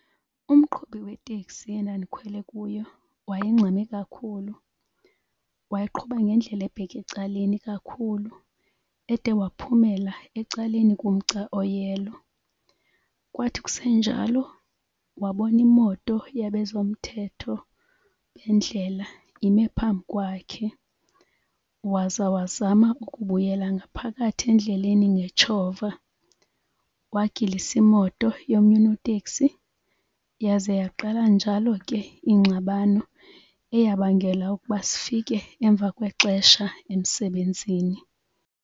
Umqhubi weteksi endandikhwele kuyo waye ngxame kakhulu, waye qhuba ngendlela ebheke ecaleni kakhulu ede waphumela ecaleni komgca oyelo. Kwathi kusenjalo wabona imoto yabezomthetho bendlela imi phambi kwakhe waza wazama ukubuyela ngaphakathi endleleni ngetshova, wagilisa imoto yomnye unoteksi yaze yaqala njalo ke ingxabano eyabangela ukuba sifike emva kwexesha emsebenzini.